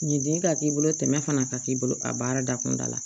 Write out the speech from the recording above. Ɲinde ka k'i bolo tɛmɛ fana ka k'i bolo a baara da kunda la